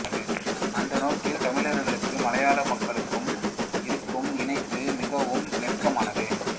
அந்த நோக்கில் தமிழர்களுக்கும் மலையாள மக்களுக்கும் இருக்கும் இணைப்பு மிகவும் நெருக்கமானது